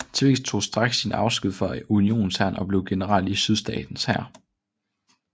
Twiggs tog straks sin afsked fra Unionshæren og blev general i Sydstaternes hær